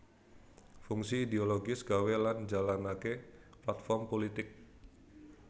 Fungsi idiologis gawé lan njalanké platform pulitik